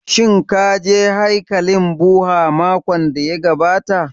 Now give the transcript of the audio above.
Shin ka je haikalin Bhudha makon da ya gabata